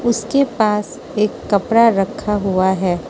उसके पास एक कपड़ा रखा हुआ है।